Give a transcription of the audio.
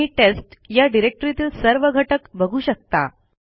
तुम्ही टेस्ट या डिरेक्टरीतील सर्व घटक बघू शकता